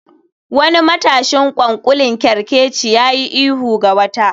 Wani matashin ƙwanƙolin kerkeci ya yi ihu ga wata